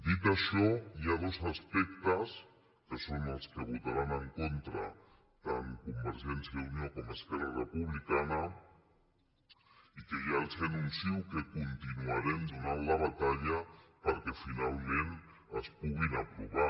dit això hi ha dos aspectes que són els que votaran en contra tant convergència i unió com esquerra re·publicana i que ja els anuncio que continuarem do·nant la batalla perquè finalment es puguin aprovar